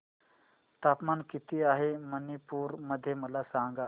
तापमान किती आहे मणिपुर मध्ये मला सांगा